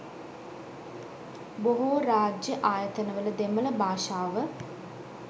බොහෝ රාජ්‍ය ආයතනවල දෙමළ භාෂාව